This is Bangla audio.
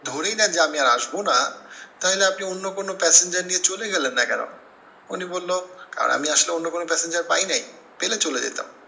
ধরেই নেন যে আমি আর আসব না, তাহিলে আপনি অন্য কোনো passenger নিয়ে চলে গেলেন না কেন? উনি বললো, আর আমি আসলে অন্য কোনো passenger পাই নাই, পেলে চলে যেতাম।